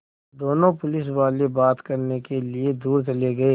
दोनों पुलिसवाले बात करने के लिए दूर चले गए